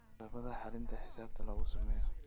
Qodobbada xalinta xisaabta laku sameyo